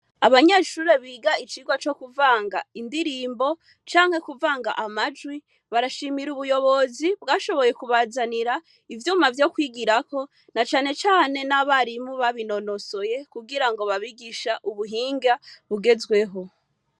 Abanyeshure biga icigwa co kuvanga indirimbo canke kuvanga amajwi barashimira ubuyobozi bwashoboye kubazanira ivyuma vyo kwigirako na cane cane n'abarimu babinonosoye kugirango babigishe ubuhinga bugezweho.